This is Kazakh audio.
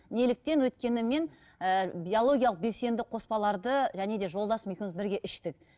неліктен өйткені мен ііі биологиялық белсенді қоспаларды және де жолдасым екеуміз бірге іштік